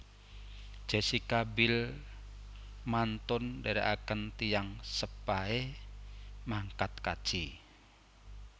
Jessica Biel mantun ndherekaken tiyang sepahe mangkat kaji